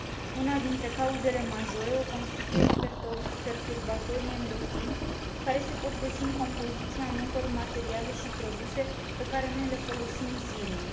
Una dintre cauzele majore o constituie perturbatorii endocrini, care se pot găsi în compoziția multor materiale și produse pe care le folosim zilnic.